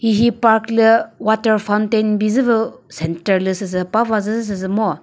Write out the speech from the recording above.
hihi park lü water fountain bizü vü centre lü süsü pava zü süsü ngo.